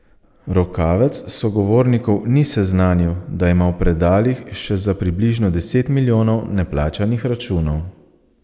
Rokavec sogovornikov ni seznanil, da ima v predalih še za približno deset milijonov neplačanih računov.